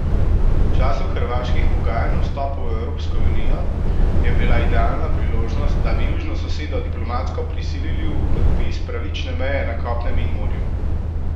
V času hrvaških pogajanj o vstopu v Evropsko unijo je bila idealna priložnost, da bi južno sosedo diplomatsko prisilili v podpis pravične meje na kopnem in morju.